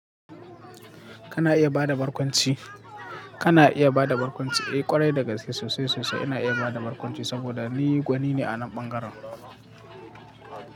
Kana iya ba da barkwanci. Kana iya ba da barkwanci. Eh, ƙwarai dagaske sosai sosai ina iya bada barkwanci saboda ni gwani ne a nan bangaren.